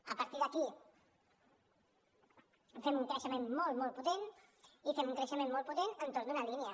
a partir d’aquí fem un creixement molt molt potent i fem un creixement molt potent entorn d’una línia